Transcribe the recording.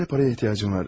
Acilə pul ehtiyacım var.